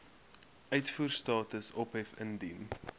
uitvoerstatus ophef indien